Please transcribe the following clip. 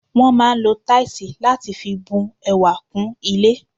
Wọ́n máà ń lo táìsì láti fi bu ẹwà kún ilé.